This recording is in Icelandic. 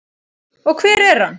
Og hver er hann?